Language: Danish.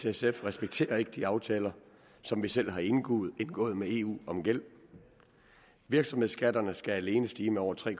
sf respekterer ikke de aftaler som vi selv har indgået indgået med eu om gæld virksomhedsskatterne skal alene stige med over tre